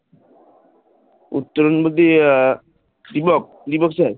উত্তরন বলতে আহ জীবক জীবক sir